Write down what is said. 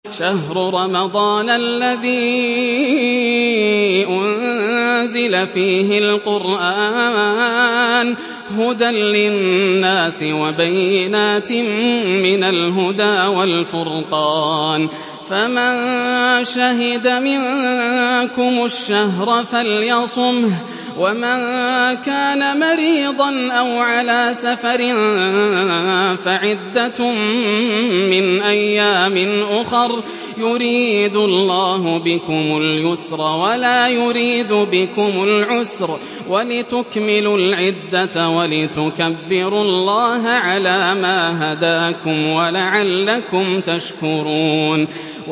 شَهْرُ رَمَضَانَ الَّذِي أُنزِلَ فِيهِ الْقُرْآنُ هُدًى لِّلنَّاسِ وَبَيِّنَاتٍ مِّنَ الْهُدَىٰ وَالْفُرْقَانِ ۚ فَمَن شَهِدَ مِنكُمُ الشَّهْرَ فَلْيَصُمْهُ ۖ وَمَن كَانَ مَرِيضًا أَوْ عَلَىٰ سَفَرٍ فَعِدَّةٌ مِّنْ أَيَّامٍ أُخَرَ ۗ يُرِيدُ اللَّهُ بِكُمُ الْيُسْرَ وَلَا يُرِيدُ بِكُمُ الْعُسْرَ وَلِتُكْمِلُوا الْعِدَّةَ وَلِتُكَبِّرُوا اللَّهَ عَلَىٰ مَا هَدَاكُمْ وَلَعَلَّكُمْ تَشْكُرُونَ